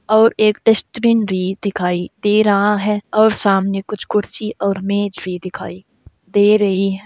और एक डस्टबिन भी दिखाई दे रहा है और सामने कुछ कुर्सी और मेज भी दिखाई दे रही हैं।